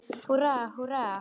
Húrra, húrra!